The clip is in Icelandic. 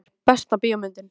íþróttir Besta bíómyndin?